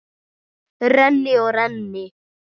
Renni og renni.